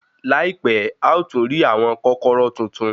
Láìpẹ́, a ó tún rí àwọn kọ́kọ́rọ́ tuntun.